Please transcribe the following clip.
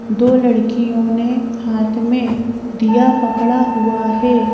दो लड़कियों ने हाथ में दिया पकड़ा हुआ है।